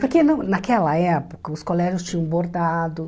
Porque no naquela época os colégios tinham bordado.